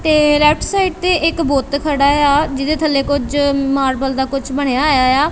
ਤੇ left side ਤੇ ਇੱਕ ਬੁੱਤ ਖੜਾ ਏ ਆ ਜਿਹਦੇ ਥੱਲੇ ਕੁਝ ਮਾਲਵਲ ਦਾ ਕੁਝ ਬਣਿਆ ਹੋਇਆ ਏ ਆ।